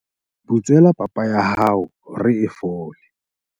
butswela papa ya hao hore e fole